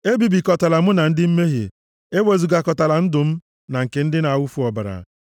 Ebibikọtala mụ na ndị mmehie, ewezugakọtala ndụ m na nke ndị na-awụfu ọbara,